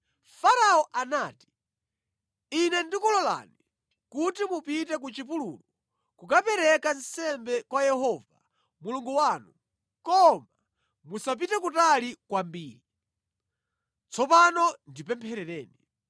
Farao anati, “Ine ndikulolani kuti mupite ku chipululu kukapereka nsembe kwa Yehova Mulungu wanu, koma musapite kutali kwambiri. Tsopano ndipempherereni.”